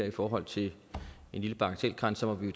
i forhold til en bagatelgrænse må vi